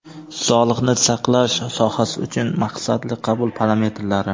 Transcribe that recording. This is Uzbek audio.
Sog‘liqni saqlash sohasi uchun maqsadli qabul parametrlari.